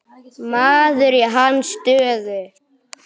Maður í hans stöðu.